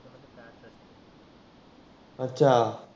अच्छा